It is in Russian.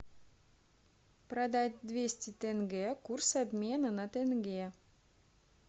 продать двести тенге курс обмена на тенге